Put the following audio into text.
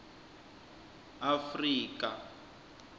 afrika